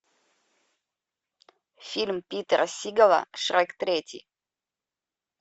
фильм питера сигала шрек третий